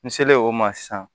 N selen o ma sisan